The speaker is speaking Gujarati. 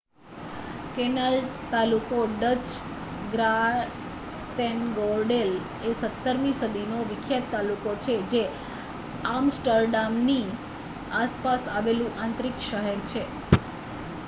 કેનાલ તાલુકો ડચ: ગ્રાટેનગોરડેલ એ 17મી સદીનો વિખ્યાત તાલુકો છે જે આમસ્ટરડામની આસપાસ આવેલું આંતરિક શહેર છે